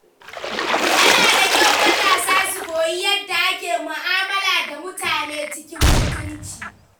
Yana da kyau matasa su koyi yadda ake mu’amala da mutane cikin mutunci.